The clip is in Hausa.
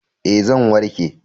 Ee, zai warke.